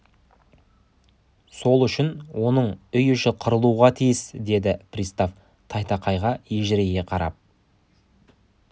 сол үшін оның үй іші қырылуға тиіс деді пристав тайтақайға ежірейе қарап